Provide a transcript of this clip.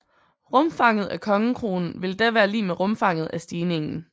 Rumfanget af kongekronen ville da være lig med rumfanget af stigningen